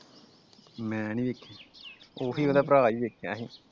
ਮੈ ਨੀ ਵੇਖਿਆ ਉਹੀ ਉਹਦਾ ਭਰਾ ਈ ਵੇਖਿਆ ਅਸੀਂ ।